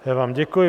Já vám děkuji.